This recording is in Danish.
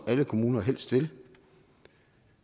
alle kommuner helst vil